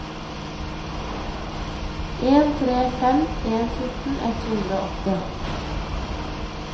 en tre fem en fjorten ett hundre og åtti